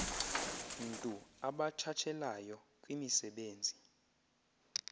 ntu abatshatshelayo kwimisebenzi